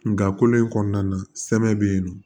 Nga kolo in kɔnɔna na sɛmɛ be yen nɔ